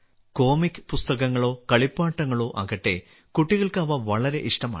comic പുസ്തകങ്ങളോ കളിപ്പാട്ടങ്ങളോ ആകട്ടെ കുട്ടികൾക്ക് അവ വളരെ ഇഷ്ടമാണ്